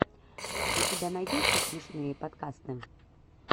у тебя найдется смешные подкасты